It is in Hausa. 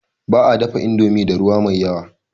Ba a dafa indomi da ruwa mai yawa.